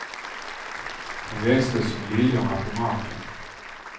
Den växte som liljorna på marken.